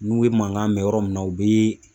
N'u ye mankan mɛn yɔrɔ min na u be